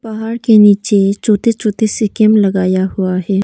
पहाड़ के नीचे छोटे छोटे से कैंप लगाया हुआ है।